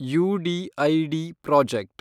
UDID project